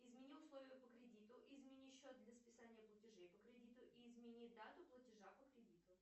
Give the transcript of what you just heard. измени условия по кредиту измени счет для списания платежей по кредиту и измени дату платежа по кредиту